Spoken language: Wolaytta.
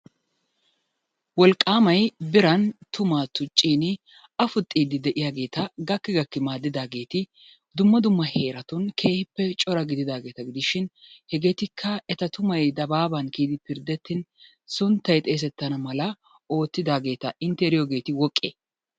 Wolqaamay biran tummaa tuccin afuxxiidi de'iyaageeta gakki gakkidi maadidaageeti dumma dumma heeratun keehippe cora gididaageeta gidishin hegeetikka eta tummay dabaaban kiyidi pirdettin sunttay xeesetana mala ootidaageeta intte eriyoogeeti woqee?